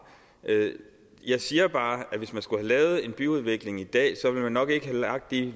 jeg siger bare at hvis man skulle have lavet en byudvikling i dag ville man nok ikke have lagt de